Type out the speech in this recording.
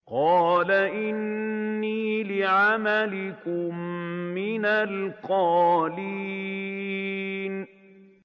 قَالَ إِنِّي لِعَمَلِكُم مِّنَ الْقَالِينَ